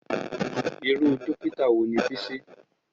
Irú Dókítà wo ni Bísí?